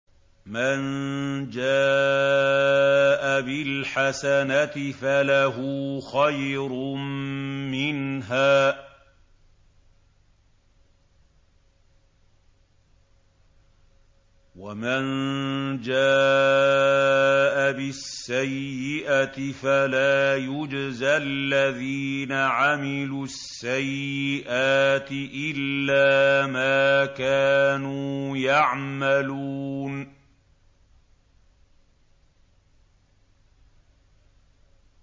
مَن جَاءَ بِالْحَسَنَةِ فَلَهُ خَيْرٌ مِّنْهَا ۖ وَمَن جَاءَ بِالسَّيِّئَةِ فَلَا يُجْزَى الَّذِينَ عَمِلُوا السَّيِّئَاتِ إِلَّا مَا كَانُوا يَعْمَلُونَ